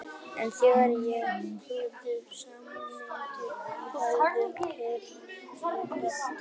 En þegar ég kuðla saman myndinni í höndunum heyri ég raddir.